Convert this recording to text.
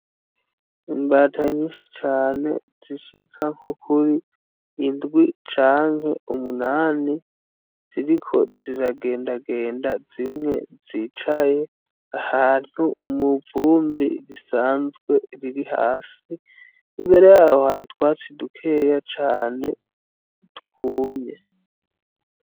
Imbata nyinshi cane zishika nko kuri indwi canke umunani, ziriko ziragendagenda zimwe zicaye ahantu mw'ivumbi risanzwe riri hasi imbere yaho hari utwatsi dukeya cane twumye.